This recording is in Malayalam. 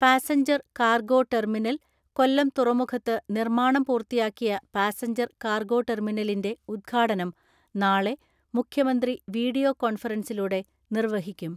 പാസഞ്ചർ കാർഗോ ടെർമിനൽ, കൊല്ലം തുറമുഖത്ത് നിർമ്മാണം പൂർത്തിയാക്കിയ പാസഞ്ചർ കാർഗോ ടെർമിനലിന്റെ ഉദ്ഘാടനം നാളെ മുഖ്യമന്ത്രി വീഡിയോ കോൺഫറൻസിലൂടെ നിർവഹിക്കും.